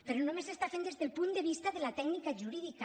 però només s’està fent des del punt de vista de la tècnica jurídica